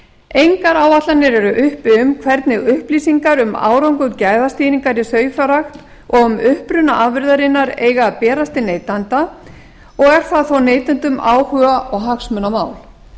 engar áætlanir eru uppi um hvernig upplýsingar um árangur gæðastýringar í sauðfjárrækt og um uppruna afurðarinnar eiga að berast til neytenda og er það þó neytendum áhuga og hagsmunamál